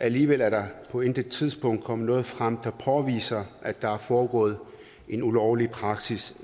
alligevel er der på intet tidspunkt kommet noget frem der påviser at der er foregået en ulovlig praksis